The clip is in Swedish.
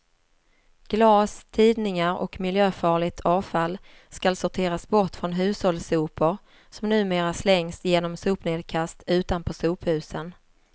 Glas, tidningar och miljöfarligt avfall skall sorteras bort från hushållssopor, som numera slängs genom sopnedkast utanpå sophusen.